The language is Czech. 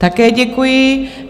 Také děkuji.